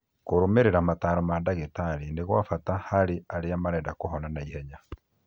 Kũrũmĩrĩra mataro ma ndagĩtarĩ nĩ gwa bata harĩ arĩa marenda kũhona naihenya